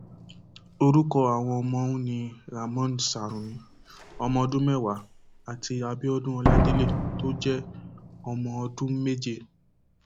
orúkọ àwọn ọmọ ọhún ni ramón sarumi ọmọọdún mẹwàá àti abiodun ọládélé tó jẹ ọmọ ọdún méje